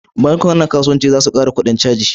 Bankunan kasuwanci za su kara kudin caji